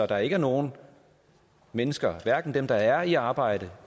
der ikke er nogen mennesker hverken dem der er i arbejde